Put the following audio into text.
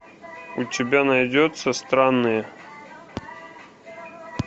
у тебя найдется странные